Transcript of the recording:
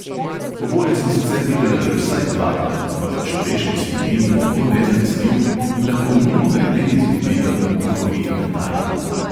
Oboje sem sicer videla že vsaj dvakrat, ampak človeški spomin je tako nezanesljiv in lahko mimogrede izgubi kak duhovit detajl.